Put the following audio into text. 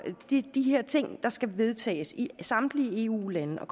de her ting der skal vedtages i samtlige eu lande og